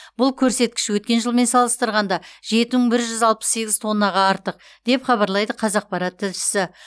бұл көрсеткіш өткен жылмен салыстырғанда жеті мың бір жүз алпыс сегіз тоннаға артық деп хабарлайды қазақпарат тілшісі